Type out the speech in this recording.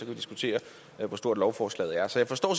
vi diskutere hvor stort lovforslaget er så jeg forstår